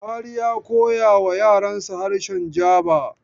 Bahari ya koyawa yaransa harshe Jaba.